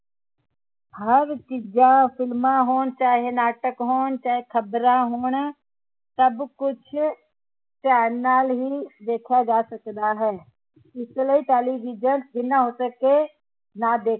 ਹਰ ਚੀਜ਼ ਫ਼ਿਲਮਾਂ ਹੋਣ ਚਾਹੇ ਨਾਟਕ ਹੋਣ ਚਾਹੇ ਖਬਰਾਂ ਹੋਣ ਸਭ ਕੁਛ ਧਿਆਨ ਨਾਲ ਹੀ ਵੇਖਾ ਜਾ ਸਕਦਾ ਹੈ ਇਸ ਲਈ ਟੈਲੀਵਿਜ਼ਨ ਜਿਨ੍ਹਾਂ ਹੋ ਸਕੇ ਨਾ ਦੇਖ